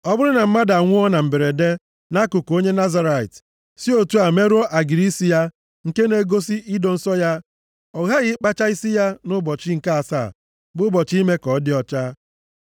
“ ‘Ọ bụrụ na mmadụ anwụọ na mberede nʼakụkụ onye nazirait, si otu a merụọ agịrị isi ya nke na-egosi ido nsọ ya, ọ ghaghị ịkpacha isi ya nʼụbọchị nke asaa bụ ụbọchị ime ka ọ dị ọcha.